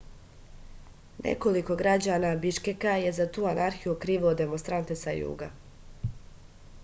nekoliko građana biškeka je za tu anarhiju okrivilo demonstrante sa juga